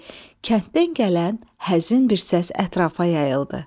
kənddən gələn həzin bir səs ətrafa yayıldı.